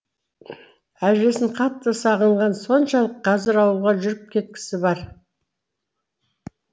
әжесін қатты сағынғаны соншалық қазір ауылға жүріп кеткісі бар